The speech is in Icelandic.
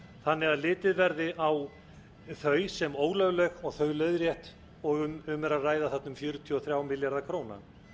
þannig að litið verði á þau sem ólögleg og þau leiðrétt og um er að ræða þarna um fjörutíu og þrjá milljarða króna